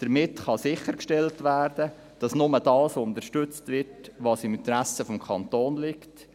Damit kann sichergestellt werden, dass nur das unterstützt wird, was im Interesse des Kantons liegt.